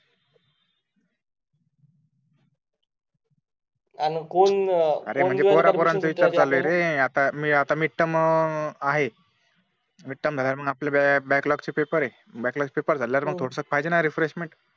अन कोण विचार चालू आहे रे आता मिड टर्म आहे मिड टर्म झाल्यावर आपले बॅकलॉग चे पेपर आहे बॅकलॉग पेपर झाल्यावर पाहिजे ना थोडासा रेफ्रेशमेंट